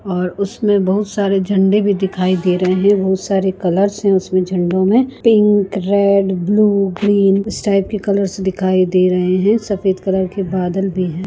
और उसमें बहोत सारे झंडे भी दिखाई दे रहे हैं बहोत सारे कलर्स हैं उसमें झंडो में पिंक रेड ब्लू ग्रेन इस टाइप के कलर्स दिखाई दे रहे हैं सफेद कलर के बादल भी हैं।